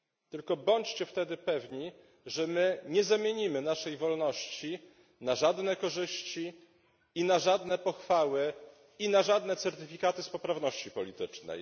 Tylko bądźcie wtedy pewni, że my nie zamienimy naszej wolności na żadne korzyści, na żadne pochwały ani na żadne certyfikaty z poprawności politycznej.